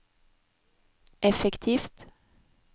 effektivt